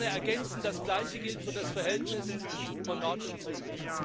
Ich würde gerne ergänzen Das Gleiche gilt für das Verhältnis von Nord und Süd.